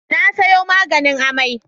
Na sayo maganin amai.